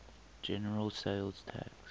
general sales tax